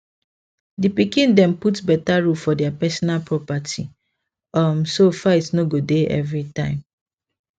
di pikin dem put better rule for their personal property um so fight no go dey every time